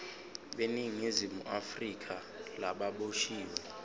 beningizimu afrika lababoshiwe